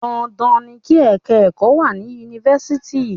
Dandan ni kí ẹ̀ka ẹ̀kọ́ wà ní Yunifásitì.